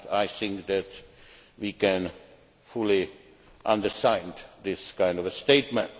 I think that we can fully understand this kind of statement.